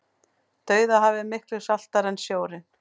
dauðahafið er miklu saltara en sjórinn